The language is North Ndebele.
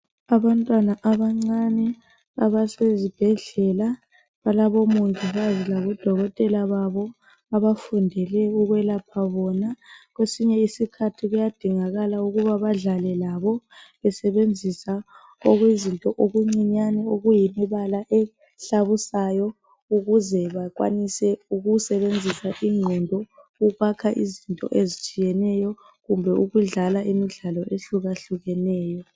Abantwana abancane abasezibhedlela balabomongikazi kanye labodokotela babo abafundele ukwelapha bona. Kwesinye isikhathi kuyadingakala ukuba badlale labo besebenzisa okuyizinto okuncinyane okuyimibala ehlabusayo ukuze bakwanise ukusebenzisa ingqondo ukwakha izinto ezitshiyeneyo kumbe ukudlala imidlalo ezehlukehlukeneyo